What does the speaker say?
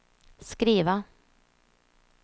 skriva